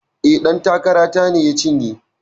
E, ɗan takara ta ne ya cinye.